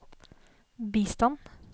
bistand